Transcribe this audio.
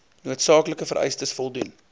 noodsaaklike vereistes voldoen